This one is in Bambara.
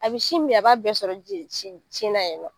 A bɛ sin min a b'a bɛɛ sɔrɔ ji ye sin sin na yɛrɛ